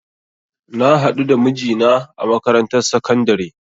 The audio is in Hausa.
Na hadu da mijina a makarantar sakandare